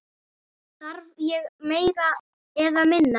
Þarf ég meira eða minna?